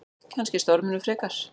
Kannski storminum frekar.